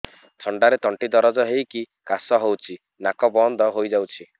ଥଣ୍ଡାରେ ତଣ୍ଟି ଦରଜ ହେଇକି କାଶ ହଉଚି ନାକ ବନ୍ଦ ହୋଇଯାଉଛି